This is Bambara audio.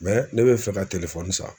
ne be fɛ ka san